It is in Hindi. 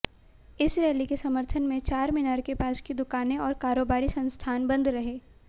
इस रैली के समर्थन में चारमीनार के पास की दुकानें और कारोबारी संस्थान बंद रहे